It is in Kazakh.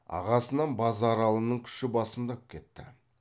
ағасынан базаралының күші басымдап кетті